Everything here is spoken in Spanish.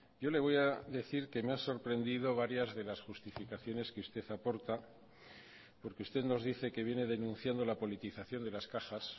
yo le voy a decir que me ha sorprendido varias de las justificaciones que usted aporta porque usted nos dice que viene denunciando la politización de las cajas